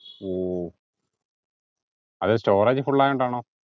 ഓഹ് അത് storage full ആയോണ്ടാണോ